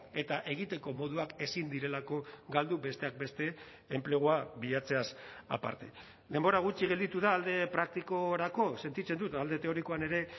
eta egiteko moduak ezin direlako galdu besteak beste enplegua bilatzeaz aparte denbora gutxi gelditu da alde praktikorako sentitzen dut alde teorikoan ere